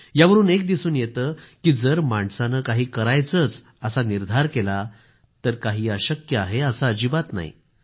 यावरून एक दिसून येतं की जर माणसानं काही करायचंच असा निर्धार केला तर काही अशक्य आहे असं अजिबात काही नाही